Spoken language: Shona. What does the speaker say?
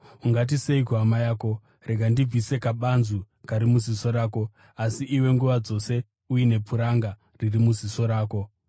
Ungati sei kuhama yako, ‘Rega ndibvise kabanzu kari muziso rako,’ asi iwe nguva dzose uine puranga riri muziso rako?